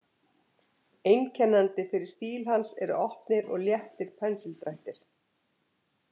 Einkennandi fyrir stíl hans eru opnir og léttir pensildrættir.